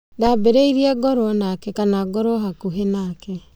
Ndabĩrĩirierie ngorwe nake ,kana ngorwe bakubĩ nake